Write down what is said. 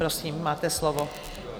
Prosím, máte slovo.